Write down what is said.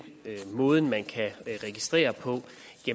måden man kan registrere på